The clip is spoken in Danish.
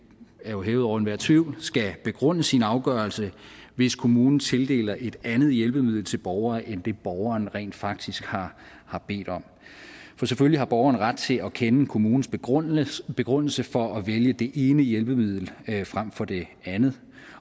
er jo hævet over enhver tvivl skal begrunde sin afgørelse hvis kommunen tildeler et andet hjælpemiddel til en borger end det borgeren rent faktisk har har bedt om for selvfølgelig har borgeren ret til at kende kommunens begrundelse begrundelse for at vælge det ene hjælpemiddel frem for det andet